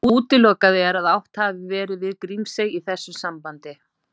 Útilokað er að átt hafi verið við Grímsey í þessu sambandi.